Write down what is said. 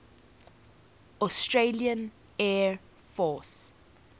australian air force